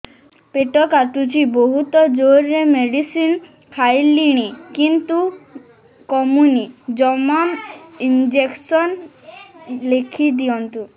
ପେଟ କାଟୁଛି ବହୁତ ଜୋରରେ ମେଡିସିନ ଖାଇଲିଣି କିନ୍ତୁ କମୁନି ଜମା ଇଂଜେକସନ ଲେଖିଦିଅନ୍ତୁ